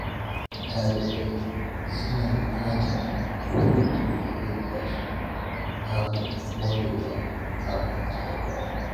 Dalibai suna bukatar hutun da zai ba su damar morewa kafin jarabawa.